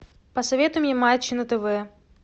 посоветуй мне матч на тв